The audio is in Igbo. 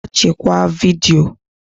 Gaa chekwaa vidiyo